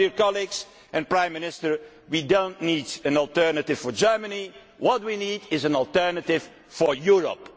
So, dear colleagues and Prime Minister, we do not need an alternative for Germany. What we need is an alternative for Europe.